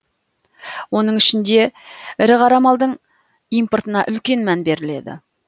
оның ішінде ірі қара малдың импортына үлкен мән беріледі